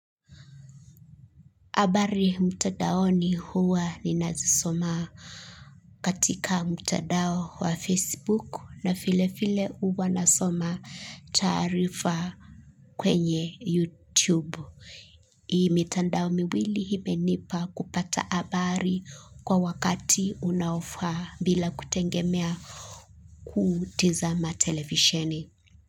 Habari mtandaoni huwa ninazisoma katika mtandao wa Facebook na vile vile huwa nasoma taarifa kwenye youtube hii mitandao miwili imenipa kupata habari kwa wakati unaofa bila kutegemea kutizama television.